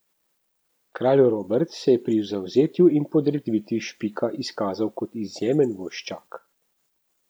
Kralj Robert se je pri zavzetju in podreditvi Špika izkazal kot izjemen vojščak.